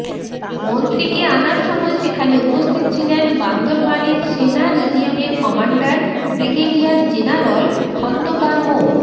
মন্ত্রীকে আনার সময় সেখানে উপস্থিত ছিলেন বান্দরবানের সেনা রিজিয়নের কমান্ডার ব্রিগেডিয়ার জেনারল খন্দকার মো